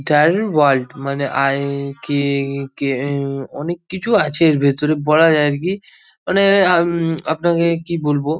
টাইর world মানে আই কে কিয়ে অনেক কিছু আছে এর ভেতরে বলা যায় আর কি মানে অম আপনাকে কি বলবো।